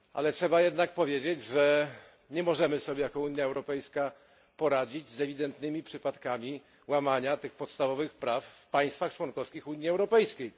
Trzeba jednak powiedzieć, że jako Unia Europejska nie możemy sobie poradzić z ewidentnymi przypadkami łamania tych podstawowych praw w państwach członkowskich Unii Europejskiej.